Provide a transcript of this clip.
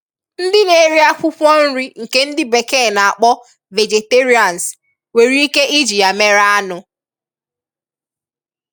Ndị na-eri akwụwkwọ nrị nke ndị bekee na-akpọ 'vegetarians' nwereike iji ya mere anụ.